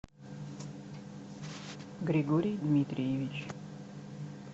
григорий дмитриевич